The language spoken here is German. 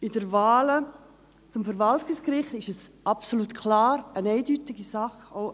Bei der Wahl für das Verwaltungsgericht ist es absolut klar, eine eindeutige Sache: